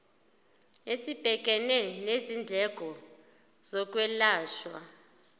esibhekene nezindleko zokwelashwa